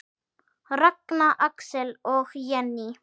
Ragna, Axel og Jenný.